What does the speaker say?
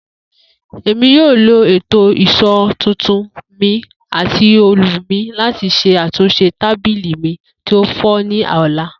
Emi yoo lo eto ìṣó tuntun mi ati òòlù mi lati ṣe atunṣe tabili mi ti o fọ ni ọla.